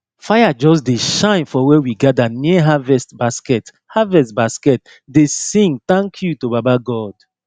fire just dey shine for where we gather near harvest basket harvest basket dey sing thank you to baba god